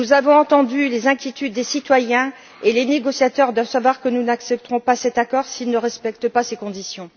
Nous avons entendu les inquiétudes des citoyens et les négociateurs doivent savoir que nous n'accepterons pas cet accord s'il ne respecte pas ces conditions.